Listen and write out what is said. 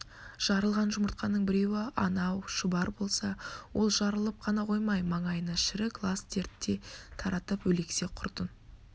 жарылған жүмыртқаның біреуі анау шұбар болса ол жарылып қана қоймай маңайына шірік лас дерт те таратып өлексе құртын